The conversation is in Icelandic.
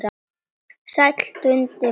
Sæll Dundi bróðir!